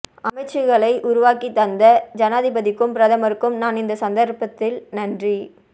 அமைச்சுக்களை உருவாக்கித் தந்த ஜனாதிபதிக்கும் பிரமருக்கும் நான் இந்த சந்தர்ப்பத்தில் நன்றி